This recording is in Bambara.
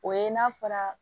O ye n'a fɔra